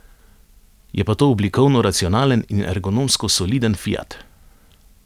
Je pa to oblikovno racionalen in ergonomsko soliden fiat.